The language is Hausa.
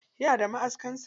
Yana da maʼaskan sa.